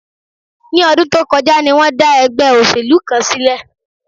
Ní ọdún tó kọjá ni wọ́n dá ẹgbẹ́ òṣèlú kan sílẹ̀